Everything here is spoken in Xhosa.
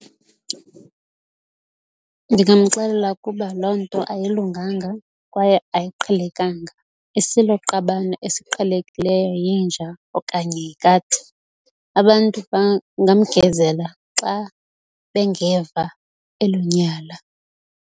Ndingamxelela kuba loo nto ayilunganga kwaye ayiqhelekanga. Isiloqabane esiqhelekileyo yinja okanye yikati. Abantu bangamgezela xa bengeva elo nyala.